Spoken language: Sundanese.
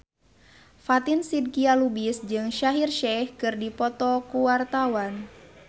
Fatin Shidqia Lubis jeung Shaheer Sheikh keur dipoto ku wartawan